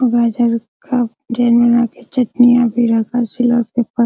और राजा लोग का जैन बना के चटनिया भी रहता है सिला --